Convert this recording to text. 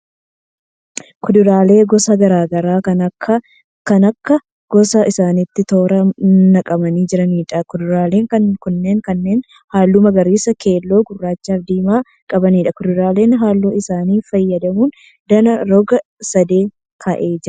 Kuduraalee gosa garaa garaa kan akka akka gosa isaaniitti toora naqamanii jiraniidha. Kuduraaleen kunneen kanneen halluu magariisa, keelloo, gurraachaa fi diimaa qabaniidha. Kuduraaleen halluu isaanii fayyadamuun danaa roga sadee ka'ee jira.